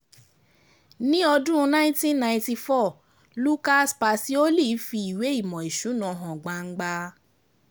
Ní nineteen niety four, Lucas Pacioli fi ìwé ìmò ìsúná ìwé ìmò ìsúná hàn gbangba.